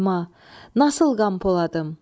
Səlma, nasıl Qampoladım?